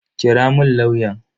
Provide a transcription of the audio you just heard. Kira mun lauyan.